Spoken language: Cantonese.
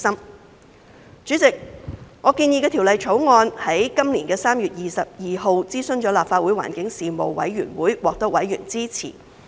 代理主席，我建議的《條例草案》於今年的3月22日諮詢立法會環境事務委員會，獲得委員支持。